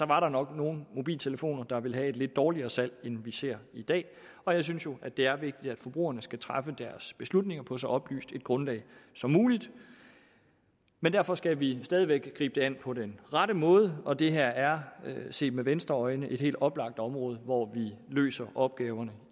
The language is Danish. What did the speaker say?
var der nok nogle mobiltelefoner der ville have et lidt dårligere salg end vi ser i dag og jeg synes jo at det er vigtigt at forbrugerne skal træffe deres beslutninger på så oplyst et grundlag som muligt men derfor skal vi stadig væk gribe det an på den rette måde og det her er set med venstres øjne et helt oplagt område hvor vi løser opgaverne